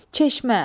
Çeşmə.